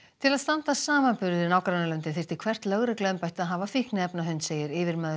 til að standast samanburð við nágrannalöndin þyrfti hvert lögregluembætti að hafa fíkniefnahund segir yfirmaður